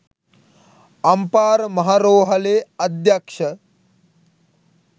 අම්පාර මහා රෝහලේ අධ්‍යක්ෂ